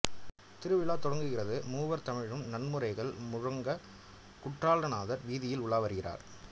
திருவுலா தொடங்குகிறது மூவர் தமிழும் நான்மறைகள் முழங்கக் குற்றலாநாதர் வீதியில் உலா வருகிறார்